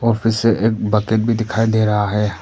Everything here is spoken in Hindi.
उनमें से एक बकेट दिखाई दे रहा है।